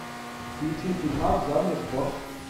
включи фильмас в жанре спорт